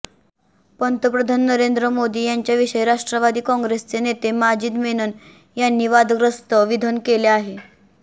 पंतप्रधन नरेंद्र मोदी यांच्याविषयी राष्ट्रवादी काँग्रेसचे नेते माजिद मेनन यांनी वादग्रस्त विधन केले आहे